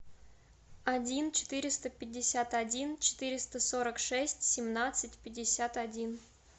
один четыреста пятьдесят один четыреста сорок шесть семнадцать пятьдесят один